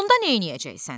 onda neyləyəcəksən?